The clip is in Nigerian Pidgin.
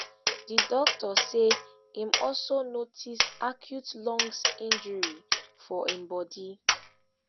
di doctor say im also notice acute lungs injury for im bodi